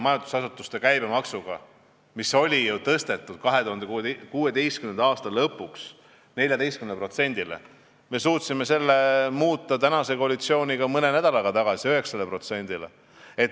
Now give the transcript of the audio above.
Majandusasutuste käibemaks oli 2016. aasta lõpust tõstetud 14%-le, me suutsime selle mõne nädalaga viia tagasi 9%-le.